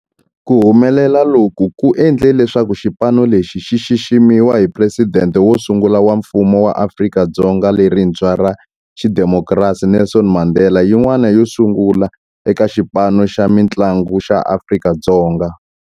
Ku humelela loku ku endle leswaku xipano lexi xi xiximiwa hi Presidente wo sungula wa Mfumo wa Afrika-Dzonga lerintshwa ra xidemokirasi, Nelson Mandela, yin'wana yo sungula eka xipano xa mintlangu xa Afrika-Dzonga.